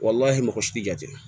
mɔgɔ si tɛ jate